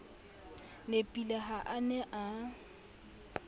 nepile ha a ne a